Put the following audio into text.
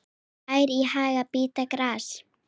Ær í haga bíta gras.